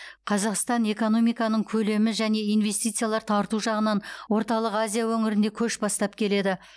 қазақстан экономиканың көлемі және инвестициялар тарту жағынан орталық азия өңірінде көш бастап келеді